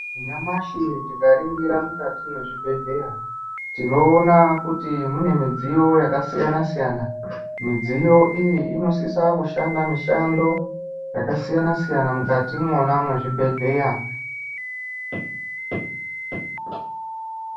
Nyamashi tikaringira mukati mwezvibhedhleya, tinoona kuti mune midziyo yakasiyana siyana. Midziyo iyi inosisa kushanda mishando yakasiyana siyana mwukati mwona mwezvibhedhleya.